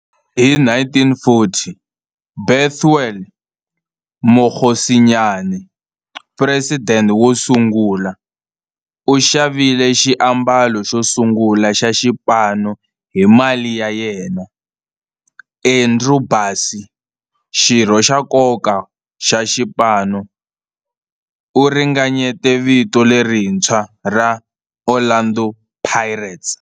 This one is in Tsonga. Hi 1940, Bethuel Mokgosinyane, president wosungula, u xavile xiambalo xosungula xa xipano hi mali ya yena. Andrew Bassie, xirho xa nkoka xa xipano, u ringanyete vito lerintshwa ra 'Orlando Pirates'.